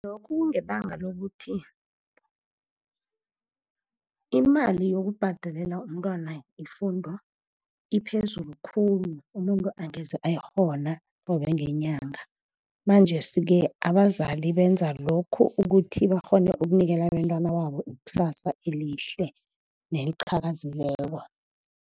Lokhu kungebanga lokuthi imali yokubhadalela umntwana ifundo iphezulu khulu, umuntu angeze ayikghona qobe ngenyanga. Manjesi-ke abazali benza lokhu ukuthi bakghone ukunikela abentwana babo ikusasa elihle neliqhakazileko.